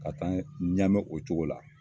Ka taa Ɲame o cogo la.